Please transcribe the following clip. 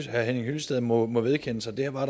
herre henning hyllested må må vedkende sig der var